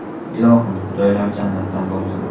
Ilohim, joylari jannatdan bo‘lsin”.